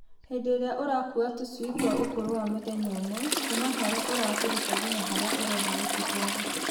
Hĩndĩ ĩrĩa ũrakua tũcui twa ũkũrũ wa mũthenya ũmwe kuma harĩa ũratũruta nginya harĩa ũrenda gũtũtwara